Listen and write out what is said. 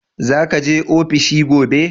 Za ka je ofishi gobe?